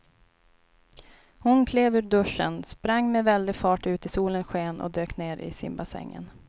Hon klev ur duschen, sprang med väldig fart ut i solens sken och dök ner i simbassängen.